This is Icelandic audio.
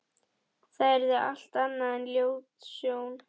Það yrði allt annað en ljót sjón.